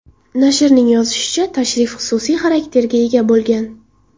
Nashrning yozishicha, tashrif xususiy xarakterga ega bo‘lgan.